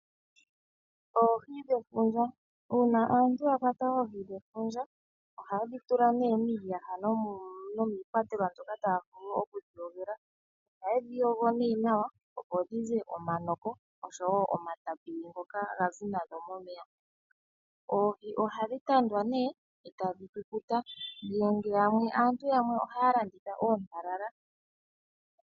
Oohi dhefunja Uuna aantu ya kwata oohi dhefundja ohaye dhi tula miiyaha nomiikwatelwa moka taya vulu okudhi kwatela. Ohaye dhi yogo nawa, opo dhi ze omanoko oshowo omatapili ngoka gadhi nazo momeya. Oohi ohadhi tandwa e tadhi kukuta. Aantu yamwe ohaya landitha oohi oontalala.